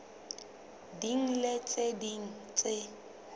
ding le tse ding tse